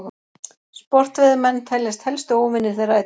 Sportveiðimenn teljast helstu óvinir þeirra í dag.